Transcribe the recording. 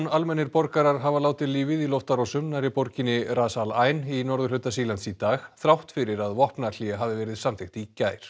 almennir borgarar hafa látið lífið í loftárásum nærri borginni Ras al Ain í norðurhluta Sýrlands í dag þrátt fyrir að vopnahlé hafi verið samþykkt í gær